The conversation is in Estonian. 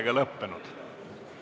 Istungi lõpp kell 10.09.